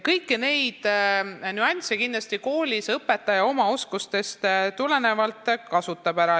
Kõiki neid nüansse kasutab õpetaja koolis kindlasti oma oskustest tulenevalt ära.